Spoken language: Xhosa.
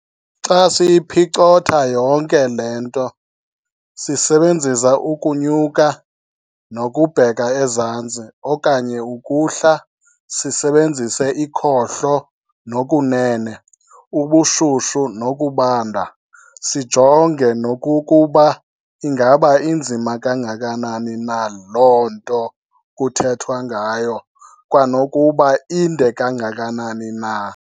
Xa siyiphicotha yonke le nto sisebenzisa ukunyuka nokubheka ezantsi okanye ukuhla, sisebenzise ikhohlo nokunene, ubushushu nokubanda, sijonge nokokuba ingaba inzima kangakanani na loo nto kuthethwa ngayo, kwanokuba inde kangakanani na.